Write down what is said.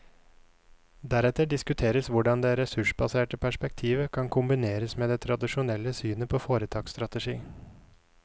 Deretter diskuteres hvordan det ressursbaserte perspektivet kan kombineres med det tradisjonelle synet på foretaksstrategi.